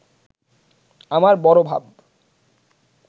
আমার বড় ভাব